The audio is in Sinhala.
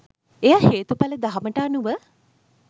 එය හේතුඵල දහමට අනුව